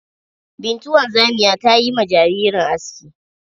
Bintu wanzamiya ta yi ma jaririn aski.